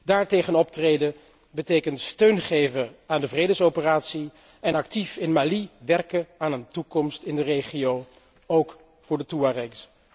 Daartegen optreden betekent steun geven aan de vredesoperatie en actief in Mali werken aan een toekomst in de regio, ook voor de Toearegs.